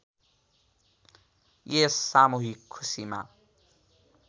यस सामूहिक खुसीमा